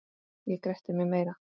Ég gretti mig meira.